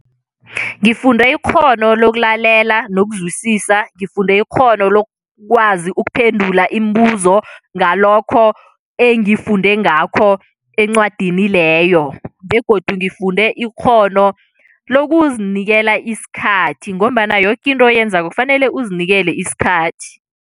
Ngifunde ikghono lokulalela nokuzwisisa, ngifunde ikghono lokwazi ukuphendula imibuzo ngalokho engifunde ngakho encwadini leyo begodu ngifunde ikghono lokuzinikela isikhathi ngombana yoke into oyenzako, kufanele uzinikele isikhathi.